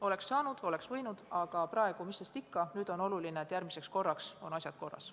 Oleks saanud ja oleks võinud, aga mis sest praegu enam – nüüd on oluline, et järgmiseks korraks oleksid asjad korras.